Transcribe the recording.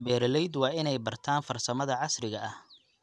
Beeralayda waa inay bartaan farsamada casriga ah.